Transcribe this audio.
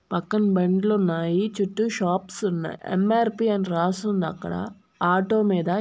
పక్కన బండ్లు ఉన్నాయి చుట్టూ షాప్స్ ఉన్నాయి ఎం-ఆర్-పి అని రాసి ఉంది అక్కడ. ఆటో మీ--